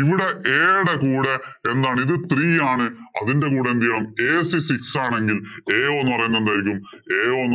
ഇവിടെ a യുടെ കൂടെ എന്താണ് ഇത് three ആണ് അതിന്‍റെ കൂടെ എന്തു ചെയ്യണം ac six ആണെങ്കില്‍ ao എന്ന്